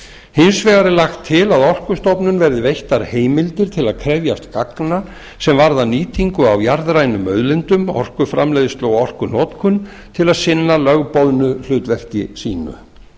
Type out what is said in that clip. hins vegar er lagt til að orkustofnun verði veittar heimildir til að krefjast gagna sem varða nýtingu á jarðrænum auðlindum orkuframleiðslu og orkunotkun til að sinna lögboðnu hlutverki sínu